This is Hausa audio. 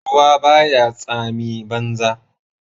Ruwa baya tsami banza